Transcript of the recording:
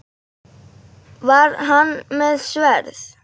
Var hann með sverð?